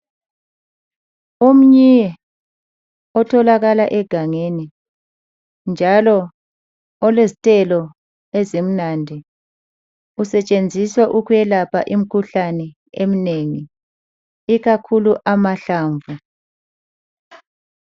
Umnyi otholakala egangeni njalo olezithelo ezimnandi. Usetshenziswa ukwelapha imikhuhlane emnengi, ikakhulu amahlamvu.